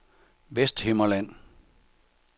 Vesthimmerland